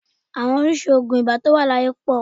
Àwọn oríṣìí oògùn ibà tí ó wà láyé pọ̀